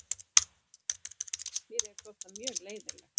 Mér hefði þótt það mjög leiðinlegt.